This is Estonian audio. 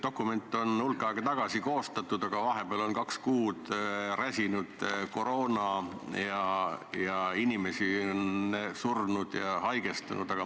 Dokument on hulk aega tagasi koostatud, aga vahepeal on maailma kaks kuud räsinud koroona ja inimesi on surnud ja haigestunud.